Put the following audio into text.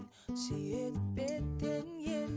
сүйеді беттен